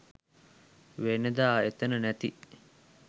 වෙනදා එතන නැති